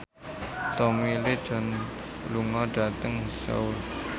Tommy Lee Jones lunga dhateng Seoul